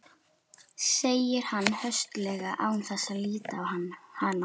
segir hann höstuglega án þess að líta á hana.